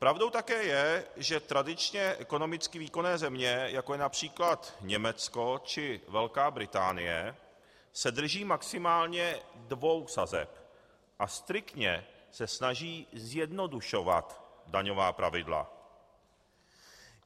Pravdou také je, že tradičně ekonomicky výkonné země, jako je například Německo či Velká Británie, se drží maximálně dvou sazeb a striktně se snaží zjednodušovat daňová pravidla.